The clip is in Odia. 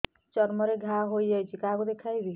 ଚର୍ମ ରେ ଘା ହୋଇଯାଇଛି କାହାକୁ ଦେଖେଇବି